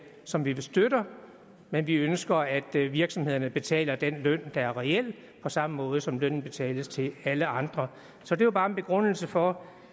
som vi støtter men vi ønsker at virksomhederne betaler den løn der er reel på samme måde som lønnen betales til alle andre så det var bare en begrundelse for